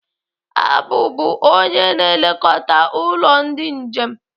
Abu bụ onye na-elekọta ụlọ ndị njem